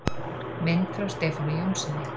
Mynd frá Stefáni Jónssyni.